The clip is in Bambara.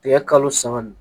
Tigɛ kalo saba